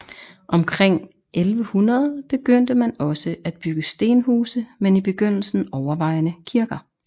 Omkring 1100 begyndte man også at bygge stenhuse men i begyndelsen overvejende kirker